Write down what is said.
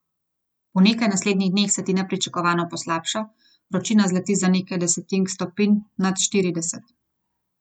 Po nekaj naslednjih dneh se ti nepričakovano poslabša, vročina zleti za nekaj desetink stopinj nad štirideset.